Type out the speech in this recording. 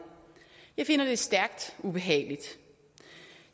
jeg finder det stærkt ubehageligt